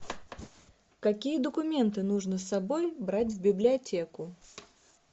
какие документы нужно с собой брать в библиотеку